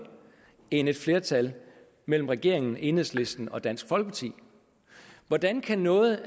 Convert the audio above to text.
end et flertal mellem regeringen enhedslisten og dansk folkeparti hvordan kan noget